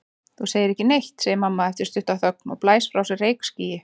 Þú segir ekki neitt, segir mamma eftir stutta þögn og blæs frá sér reykskýi.